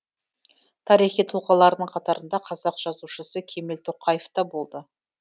тарихи тұлғалардың қатарында қазақ жазушысы кемел тоқаев та болды